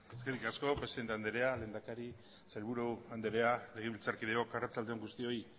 eskerrik asko presidente andrea lehendakari sailburu andrea legebiltzarkideok arratsalde on guztioi